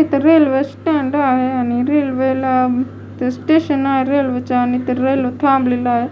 इथं railway stand आहे आणि रेल्वेला स्टेशन आहे रेल्वेचं आणि इथ रेल्वे थांबलेली आहे